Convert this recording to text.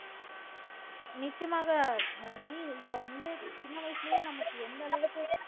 நிச்சயமாக மெர்சி இப்ப வந்து வயசிலயே நமக்கு எந்த அளவுக்கு